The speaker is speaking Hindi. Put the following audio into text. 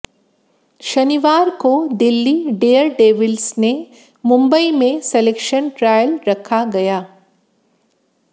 शनिवार को दिल्ली डेयरडेविल्स ने मुंबई में सलेक्शन ट्रायल रखा गया